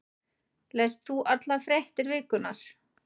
Lest þú allar fréttir vikunnar?